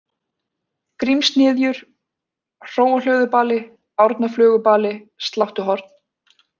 Grímshnyðjur, Hróahlöðubali, Árnaflögubali, Sláttuhorn